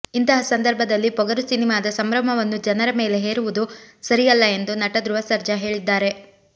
ಇಂತಹ ಸಂದರ್ಭದಲ್ಲಿ ಪೊಗರು ಸಿನಿಮಾದ ಸಂಭ್ರಮವನ್ನು ಜನರ ಮೇಲೆ ಹೇರುವುದು ಸರಿಯಲ್ಲ ಎಂದು ನಟ ಧ್ರುವ ಸರ್ಜಾ ಹೇಳಿದ್ದಾರೆ